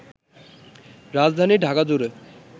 রাজধানী ঢাকাজুড়ে